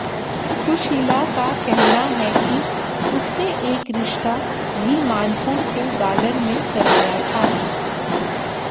सुशीला का कहना है कि उसने एक रिश्ता भी मानपुर से गालन में कराया था